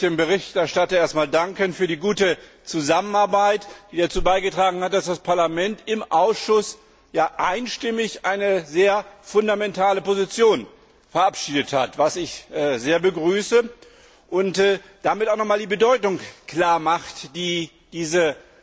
Auch ich möchte dem Berichterstatter erst einmal für die gute Zusammenarbeit danken, die dazu beigetragen hat, dass das Parlament im Ausschuss einstimmig eine sehr fundamentale Position verabschiedet hat was ich sehr begrüße und damit noch einmal die Bedeutung klarmacht, die diese